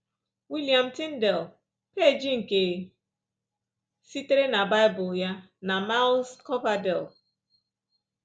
William Tyndale, peeji nke sitere na Bible ya, na Miles Coverdale